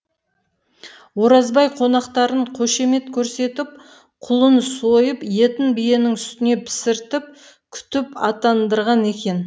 оразбай қонақтарын қошемет көрсетіп құлын сойып етін биенің сүтіне пісіртіп күтіп аттандырған екен